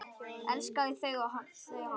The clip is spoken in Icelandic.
Elskaði þau og þau hann.